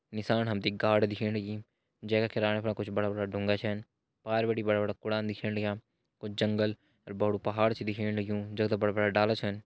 निसाण हमते गाड़ दिखेण लगी जैका किराणा फणा कुछ बड़ा बड़ा ढुंगा छन पार बटी बड़ा बड़ा कूड़ान दिखेण लग्या कुछ जंगल अर बड़ू पहाड़ च दिखेण लग्यू जै तो बड़ा बड़ा डाला छन।